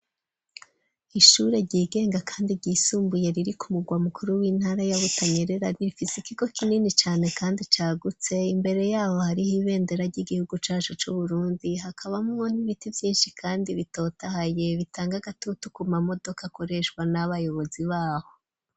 Ishure ryigenga, kandi ryisumbuye, riri ku mugwa mukuru, w'intara ya Butanyerera, rifise ikigo kinini cane, kandi cagutse; imbere y'aho, hariho ibendera, ry'igihugu cacu c'Uburundi, hakabamwo n'ibiti vyinshi, kandi bitotahaye, bitanga agatutu, ku mamodoka, akoreshwa n'abayobozi b'aho.